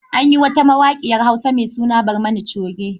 An yi wata mawaƙiyar Hausa mai suna Barmani Coge..